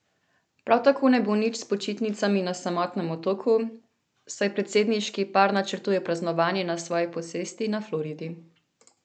Prav tako ne bo nič s počitnicami na samotnem otoku, saj predsedniški par načrtuje praznovanje na svoji posesti na Floridi.